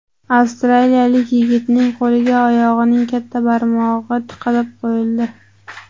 Avstraliyalik yigitning qo‘liga oyog‘ining katta barmog‘i tikib qo‘yildi.